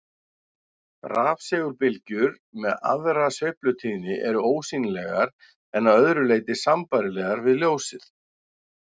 Rafsegulbylgjur með aðra sveiflutíðni eru ósýnilegar en að öðru leyti sambærilegar við ljósið.